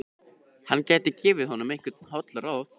Hann gæti gefið honum einhver holl ráð.